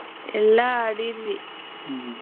ಎಲ್ಲಾ ಆಡಿದ್ವಿ .